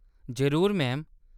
जरूर, मैम।